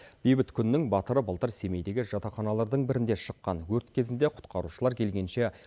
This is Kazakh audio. бейбіт күннің батыры былтыр семейдегі жатақханалардың бірінде шыққан өрт кезінде құтқарушылар келгенше